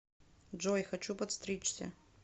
джой хочу подстричься